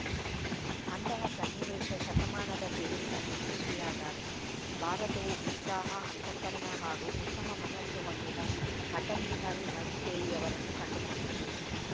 ಅಂತಹ ಸನ್ನಿವೇಶ ಶತಮಾನದ ತಿರುವಿನಲ್ಲಿ ಸೃಷ್ಟಿಯಾದಾಗ ಭಾರತವು ಉತ್ಸಾಹ ಅಂತಃಕರಣ ಹಾಗೂ ಉತ್ತಮ ಮನಸ್ಸು ಹೊಂದಿದ ಅಟಲ್‌ ಬಿಹಾರಿ ವಾಜಪೇಯಿ ಅವರನ್ನು ಕಂಡುಕೊಂಡಿತು